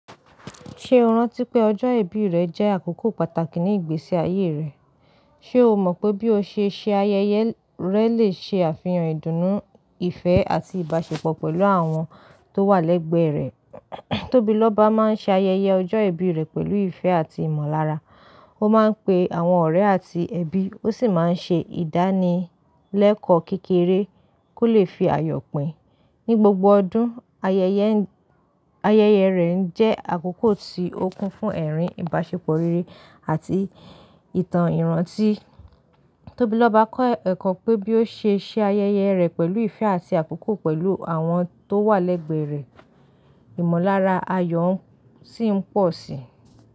Ṣe o rántí pé ọjọ́ ìbí rẹ jẹ́ àkókò pàtàkì ní ìgbésí ayé rẹ? Ṣe o mọ̀ pé bí o ṣe ṣe ayẹyẹ rẹ lè ṣe àfihàn ìdùnnú, ìfẹ́, àti ìbáṣepọ̀ pẹ̀lú àwọn tó wà lẹ́gbẹ̀ẹ́ rẹ? Tobiloba máa ń ṣe ayẹyẹ ọjọ́ ìbí rẹ̀ pẹ̀lú ìfẹ́ àti ìmọ̀lára. Ó máa ń pe àwọn ọ̀rẹ́ àti ẹbí, ó sì máa ń ṣe ìdánilẹ́kọ̀ọ́ kékeré kó lè fi àyọ̀ pí Ní gbogbo ọdún, ayẹyẹ- ayẹyẹ rẹ̀ ń jẹ́ àkókò tí ó kún fún ẹ̀rín ìbáṣepọ̀ rere àti ìtàn ìrántí. Tobiloba kọ́ ẹ̀kọ́ pé bí ó ṣe ṣe ayẹyẹ rẹ̀ pẹ̀lú ìfẹ́ àti àkókò pẹ̀lú àwọn tó wà lẹ́gbẹ̀ẹ́ rẹ̀, ìmọ̀lára ayọ̀ sì ń pọ̀ síi.